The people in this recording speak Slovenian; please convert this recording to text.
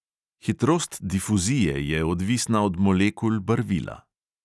Hitrost difuzije je odvisna od molekul barvila.